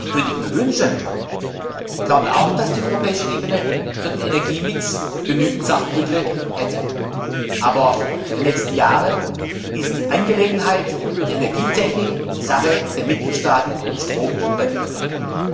Ich würde sie mir wünschen, und ich glaube auch, dass die europäische Ebene für den Energiemix genügend Sachkunde hätte. Aber für die nächsten Jahre ist die Angelegenheit der Energietechnik Sache der Mitgliedstaaten im Stromumwandlungsbereich.